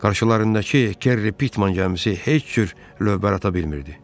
Qarşılarındakı Kerry Pitman gəmisi heç cür lövbər ata bilmirdi.